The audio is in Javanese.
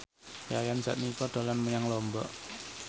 Yayan Jatnika dolan menyang Lombok